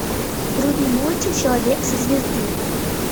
вруби мультик человек со звезды